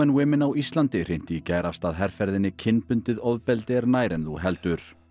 Women á Íslandi hrinti í gær af stað herferðinni kynbundið ofbeldi er nær en þú heldur